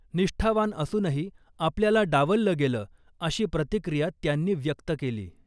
निष्ठावान असूनही आपल्याला डावललं गेलं, अशी प्रतिक्रिया त्यांनी व्यक्त केली .